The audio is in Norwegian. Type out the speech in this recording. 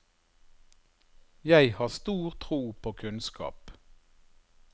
Jeg har stor tro på kunnskap.